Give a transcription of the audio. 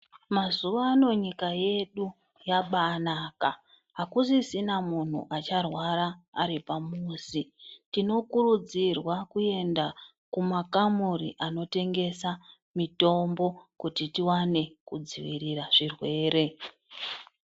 Mazuvano nyika yedu yabanaka. Hakusisina muntu acharwara aripa muzi. Tinokurudzirwe kuenda kumakamuri anotengesa mitombo kuti tiwane kudzivirira zvirwere.